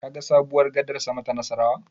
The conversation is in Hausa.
Kaga sabuwar gadar sama ta Nassarawa?